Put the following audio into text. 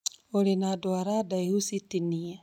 ũrĩ na ndwara ndaihu cĩtĩnĩe